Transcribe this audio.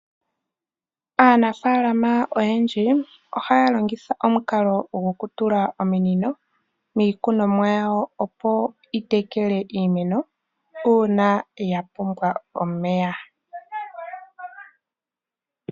Aanafaalama oyendji ohaya longitha omukalo gokutula ominino miikunomwa yawo, opo dhi tekele iimeno uuna ya pumbwa omeya.